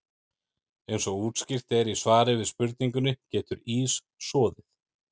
Eins og útskýrt er í svari við spurningunni Getur ís soðið?